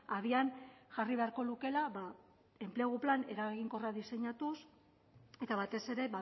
abian jarri beharko lukeela enplegu plan eraginkorra diseinatuz eta batez ere